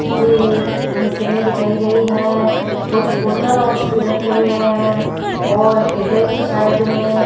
के मशीने दिखाई गई है कुछ और रखे हुए हैं और इधर की साइड में --